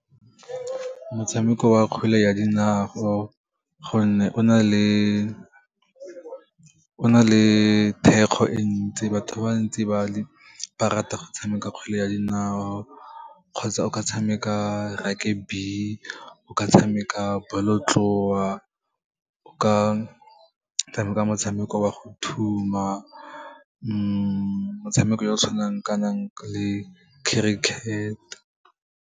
Motshameko wa kgwele ya dinao, gonne o na le thekgo e ntsi, batho ba bantsi ba rata go tshameka kgwele ya dinao, kgotsa o ka tshameka rugby, o ka tshameka bolotloa, o ka tshameka motshameko wa go thuma, motshameko o o tshwanang kanang le cricket.